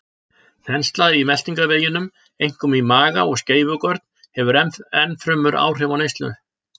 Þensla í meltingarveginum, einkum í maga og skeifugörn, hefur ennfremur áhrif á neyslu.